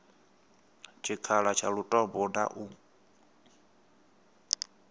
tshikhala tsha lutombo na u